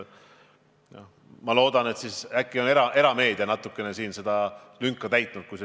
Ma loodan, et äkki on erameedia natuke seda lünka täitnud.